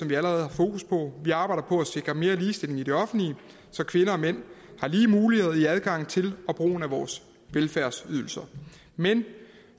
vi allerede har fokus på vi arbejder på at sikre mere ligestilling i det offentlige så kvinder og mænd har lige muligheder i adgangen til og brugen af vores velfærdsydelser men